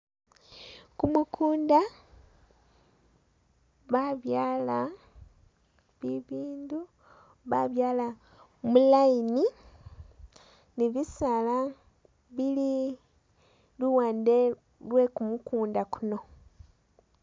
Gumugunda ba byaala bibindu babyaala mu line ni bisaala bili luwande lwe gumugunda guno.